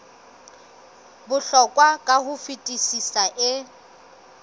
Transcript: bohlokwa ka ho fetisisa e